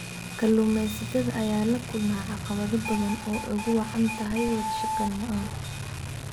Kalluumeysatada ayaa la kulma caqabado badan oo ay ugu wacan tahay wadashaqeyn la'aan.